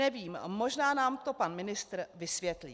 Nevím, možná nám to pan ministr vysvětlí.